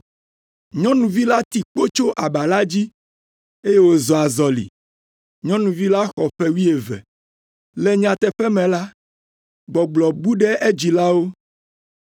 Nyɔnuvi la ti kpo tso aba la dzi, eye wòzɔ azɔli (nyɔnuvi la xɔ ƒe wuieve). Le nyateƒe me la, gbɔgblɔ bu ɖe edzilawo.